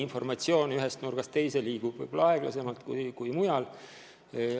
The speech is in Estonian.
Informatsioon ühest nurgast teise liigub võib-olla aeglasemalt kui mujal.